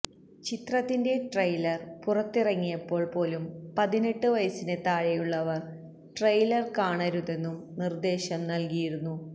ചിത്രത്തിന്റെ ട്രെയിലർ പുറത്തിറങ്ങിയപ്പോൾ പോലും പതിനെട്ട് വയസിന് താഴെയുള്ളവർ ട്രെയിലർ കാണരുതെന്നും നിർദ്ദേശം നൽകിയിരുന്നു